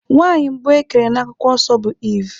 Nwaanyị mbụ ekere n'akwụkwọ nsọ bụ Eve.